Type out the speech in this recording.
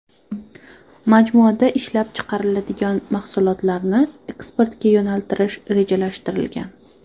Majmuada ishlab chiqariladigan mahsulotlarni eksportga yo‘naltirish rejalashtirilgan.